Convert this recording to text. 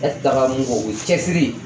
E tɛ taga mun kɔ o ye cɛsiri